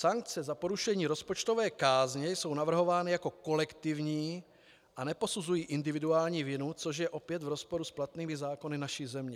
Sankce za porušení rozpočtové kázně jsou navrhovány jako kolektivní a neposuzují individuální vinu, což je opět v rozporu s platnými zákony naší země.